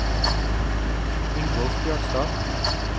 Ingolf Bjørnstad